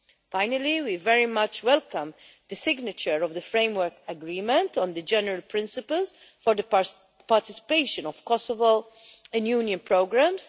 Finally, we very much welcome the signature of the Framework Agreement on the general principles for the participation of Kosovo in Union programmes.